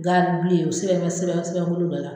Garini bilen o siran bɛ sɛbɛn sɛbɛn kuru dɔ la !